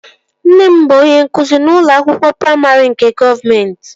Nne m bụ onye nkụzi n'ụlọ akwụkwọ praimarị nke gọọmenti